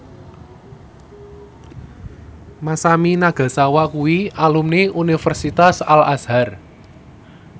Masami Nagasawa kuwi alumni Universitas Al Azhar